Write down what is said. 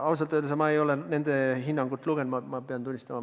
Ausalt öeldes ma ei ole nende hinnangut lugenud, seda tuleb tunnistada.